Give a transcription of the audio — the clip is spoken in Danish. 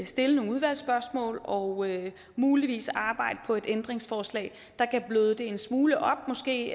stille nogle udvalgsspørgsmål og muligvis arbejde på et ændringsforslag der kan bløde det en smule op måske